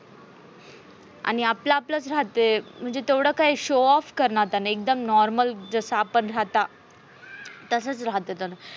आणि आपला आपलाच राहते. म्हणजे तेवढं काही show off करनाता नाही. एकदम normal जस आपण राहता तसच राहते त्यान.